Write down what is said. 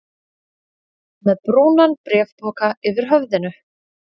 Með brúnan bréfpoka yfir höfðinu?